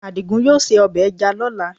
Àdìgún yóò se ọbẹ̀ ẹja lọ́la